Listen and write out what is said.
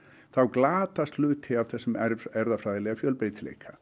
þá glatast hluti af þessum erfðafræðilega fjölbreytileika